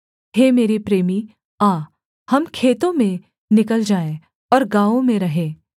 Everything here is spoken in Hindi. हे मेरे प्रेमी आ हम खेतों में निकल जाएँ और गाँवों में रहें